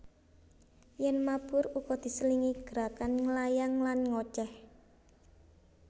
Yèn mabur uga diselingi gerakan nglayang lan ngocéh